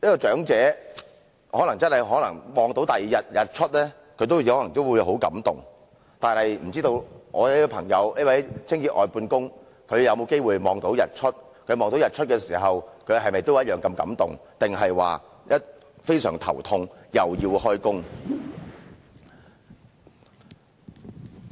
"長者看到第二天的日出可能也會很感動，但不知道我這位清潔外判工朋友有沒有機會看到日出？他看到日出時是否也同樣如此感動，還是感到非常頭痛，又要開工？